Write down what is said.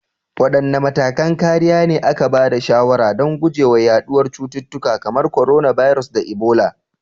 Wadanne matakan kariya ne aka ba da shawarar don guje wa yaduwar cututtuka kamar coronavirus da Ebola?